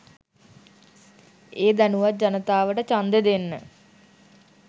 ඒ දැනුවත් ජනතාවට චන්දෙ දෙන්න